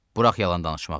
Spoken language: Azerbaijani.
Burax yalan danışmağı.